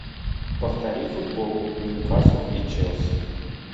повтори футбол ньюкасл и челси